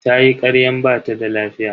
Tayi karyan bata da lafiya.